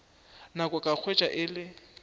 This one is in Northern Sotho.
nako ka hwetša e le